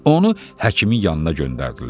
Onu həkimin yanına göndərdilər.